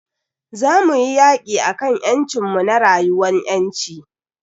Za muyi yaki akan ƴancin mu na rayuwan ƴanci.